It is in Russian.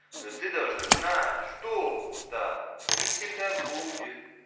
но ты должна знать что так не всегда будет